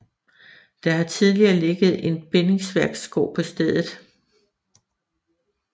Der har tidligere ligget en bindingsværksgård på stedet